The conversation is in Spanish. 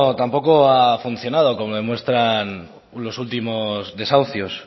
tampoco ha funcionado como demuestran los últimos desahucios